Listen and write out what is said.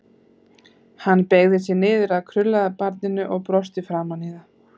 Hann beygði sig niður að krullaða barninu og brosti framan í það.